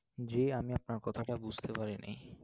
জি, আমি আপনার কথাটা বুঝতে পারি নাই।